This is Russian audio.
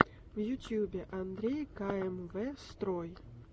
в ютубе андрей ка эм вэ строй